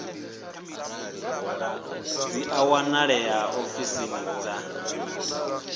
dzi a wanalea ofisini dza